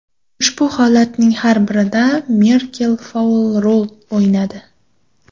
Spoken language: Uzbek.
Ushbu holatlarning har birida Merkel faol rol o‘ynadi.